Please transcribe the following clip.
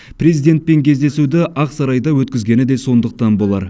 президентпен кездесуді ақ сарайда өткізгені де сондықтан болар